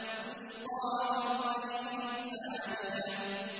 تُسْقَىٰ مِنْ عَيْنٍ آنِيَةٍ